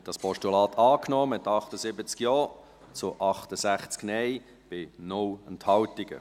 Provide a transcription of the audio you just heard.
Sie haben dieses Postulat angenommen, mit 78 Ja- zu 68 Nein-Stimmen bei 0 Enthaltungen.